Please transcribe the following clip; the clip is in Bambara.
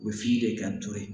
U bɛ f'i de kan ni to ye